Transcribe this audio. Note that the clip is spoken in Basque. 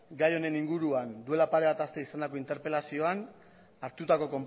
gai honen inguruan duela pare bat aste izandako interpelazioan hartutako